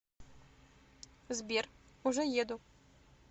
сбер уже еду